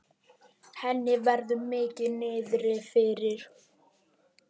Henni verður mikið niðri fyrir.